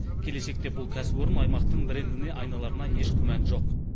келешекте бұл кәсіпорын аймақтың брендіне айналарына еш күмән жоқ